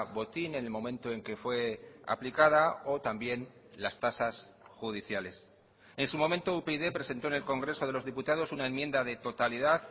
botín en el momento en que fue aplicada o también las tasas judiciales en su momento upyd presentó en el congreso de los diputados una enmienda de totalidad